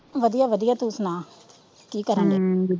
ਵਧੀਆ ਵਧੀਆ ਤੂੰ ਸੁਣਾ ਕੀ ਕਰਨ ਦੇ